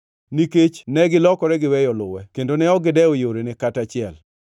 nikech negilokore giweyo luwe kendo ne ok gidewo yorene kata achiel.